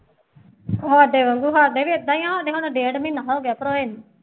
ਤੁਹਾਡੇ ਵਾਂਗੂੰ ਸਾਡੇ ਵੀ ਏਦਾਂ ਹੀ ਹੈ ਕਿ ਮੈਂਨੂੰ ਡੇਢ ਮਹੀਨਾ ਹੋ ਗਿਆ ਭਰਾਏ ਨੂੰ